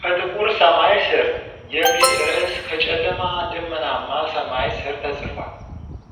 "ከጥቁር ሰማይ ስር" የሚል ርዕስ ከጨለማ፣ ደመናማ ሰማይ ስር ተጽፏል።